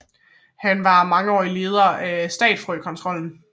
Han var mangeårig leder af Statfrøkontrollen